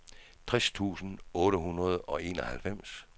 tres tusind otte hundrede og enoghalvfems